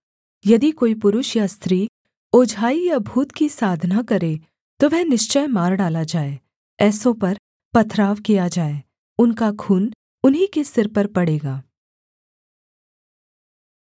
यदि कोई पुरुष या स्त्री ओझाई या भूत की साधना करे तो वह निश्चय मार डाला जाए ऐसों पर पथराव किया जाए उनका खून उन्हीं के सिर पर पड़ेगा